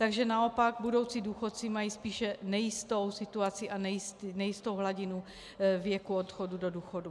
Takže naopak budoucí důchodci mají spíše nejistou situaci a nejistou hladinu věku odchodu do důchodu.